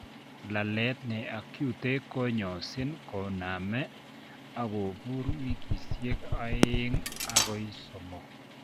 Laalet neacute konyosin konamee akobuur wikisiek oeng' akoi somok